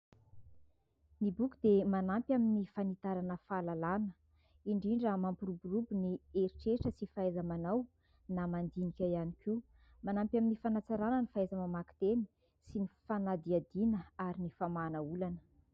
Ny boky dia manampy amin'ny fanitarana fahalalàna, indrindra mampiroborobo ny heritreritra sy fahaiza-manao na mandinika ihany koa, manampy amin'ny fanatsarana ny fahaiza-mamaky teny sy ny fanadihadiana ary ny famahana olana.